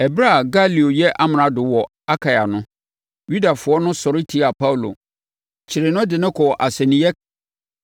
Ɛberɛ a Galio yɛ amrado wɔ Akaia no, Yudafoɔ no sɔre tiaa Paulo, kyeree no, de no kɔɔ asɛnniiɛ,